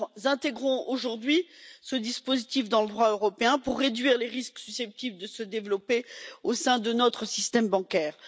Nous intégrons aujourd'hui ce dispositif dans le droit européen pour réduire les risques susceptibles de se développer au sein de notre système bancaire.